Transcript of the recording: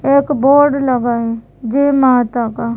एक बोर्ड लगा ऐ जय माता का --